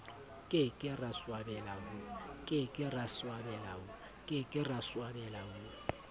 ke ke ra swabela ho